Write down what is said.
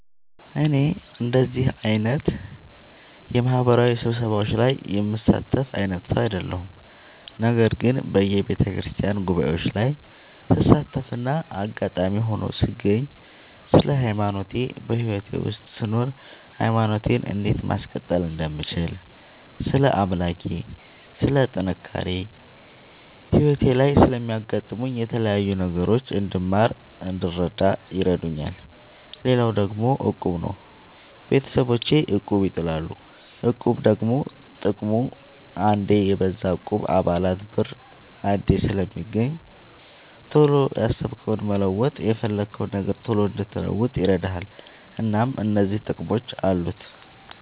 እኔ እንደዚህ አይነት የማህበራዊ ስብሰባዎች ላይ የምሳተፍ አይነት ሰው አይደለሁም። ነገር ግን በየቤተክርስቲያን ጉባኤዎች ላይ ስሳተፍና አጋጣሚ ሆኖ ስገኝ ስለ ሃይማኖቴ በህይወቴ ውስጥ ስኖር ሃይማኖቴን እንዴት ማስቀጠል እንደምችል ስለ አምላኬ ስለ ጥንካሬ ህይወቴ ላይ ስለሚያጋጥሙኝ የተለያዩ ነገሮች እንድማር እንድረዳ ይረዳኛል። ሌላው ደግሞ እቁብ ነው። ቤተሰቦቼ እቁብ ይጥላሉ። እቁብ ደግሞ ጥቅሙ አንዴ የብዙ እቁብ የአባላት ብር አንዴ ስለሚገኝ ቶሎ ያሰብከውን መለወጥ የፈለግከውን ነገር ቶሎ እንድትለውጥ ይረዳል። እናም እነዚህ ጥቅሞች አሉት።